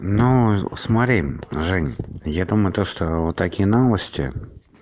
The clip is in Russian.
ну смотри жень я думаю то что вот такие новости